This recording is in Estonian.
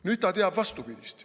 Nüüd ta teab vastupidist.